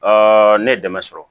ne ye dɛmɛ sɔrɔ